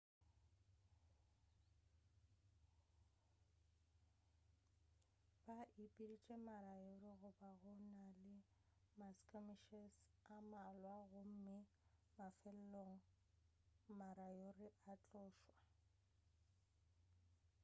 ba ipeditše ma-moriori go ba go na le ma-skirmishes a mmalwa gomme mafelelong ma-moriori a tlošwa